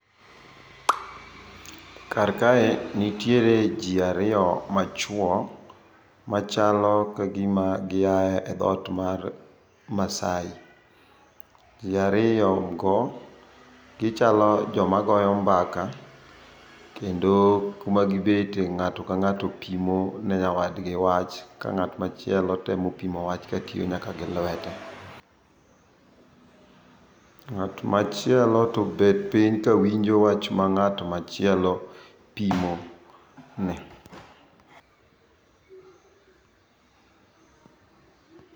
Karkae nitiere ji ariyo machuo, machalo ka gima giae e dhoot mar Maasai. Ji ariyogo, gichalo joma goyo mbaka, kendo kumagibete ng'ato ka ng'ato pimo ne nyawadgi wach, ka ng'at machielo temo pimo wach ka tiyo nyaka gi lwete. Ng'at machielo to obet piny ka winjo wach ma ng'at machielo pimo ne.